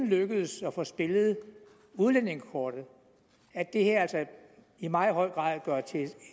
lykkedes at få spillet udlændingekortet at det her altså i meget høj grad gøres til